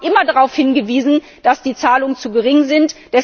Wir Grüne haben immer darauf hingewiesen, dass die Zahlungen zu gering sind.